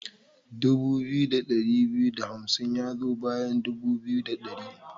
Dubu biyu da ɗari biyu da hamsin ya zo bayan dubu biyu da ɗari.